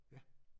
Ja